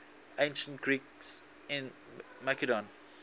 ancient greeks in macedon